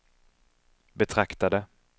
betraktade